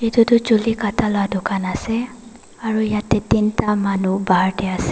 etu tu chuli katta lah dukan ase aru yate tin ta manu bahar teh ase.